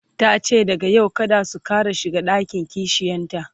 tace daga yau kada su Ƙara shiga ɗakin kishiyanta